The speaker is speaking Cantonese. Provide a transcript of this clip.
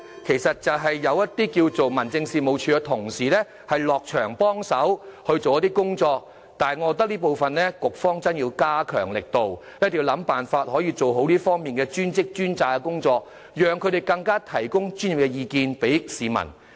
現時，政府會派一些民政事務處的職員落區協助處理，但我認為局方在這方面有需要加強力度，一定要設法做好"專職專責"的工作，讓職員向市民提供專業意見。